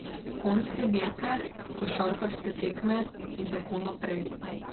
Konjske dirke, košarkarske tekme in tako naprej.